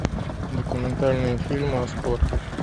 документальные фильмы о спорте